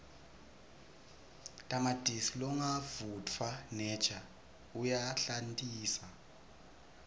tamatisi longavutfwaneja uyahlantisa